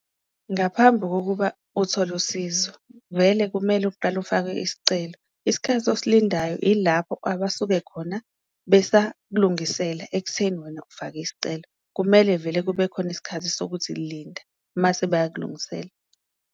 Ngaphambu kokuba uthole usizo vele kumele uqale ufake isicelo, isikhathi osilindayo ilapho abasuke khona besakulungisela ekutheni wena ufake isicelo, kumele vele kube khona isikhathi sokuthi linda mase bayakulungisela.